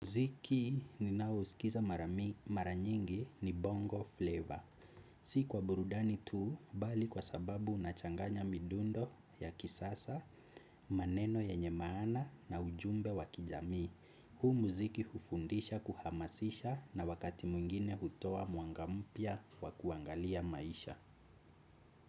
Mziki ninayo uskiza maranyingi ni bongo fleva. Si kwa burudani tu bali kwa sababu unachanganya midundo ya kisasa, maneno yenye maana na ujumbe wa kijamii. Huu mziki hufundisha kuhamasisha na wakati mwingine hutoa mwanga mpya wa kuangalia maisha.